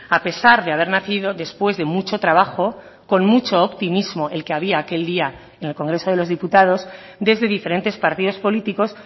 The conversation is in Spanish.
a pesar de haber nacido después de mucho trabajo con mucho optimismo el que había aquel día en el congreso de los diputados desde diferentes partidos políticos